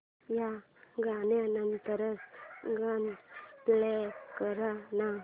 या गाण्या नंतरचं गाणं प्ले कर ना